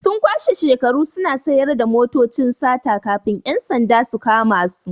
Sun kwashe shekaru suna sayar da motocin sata kafin 'yan sanda su kama su.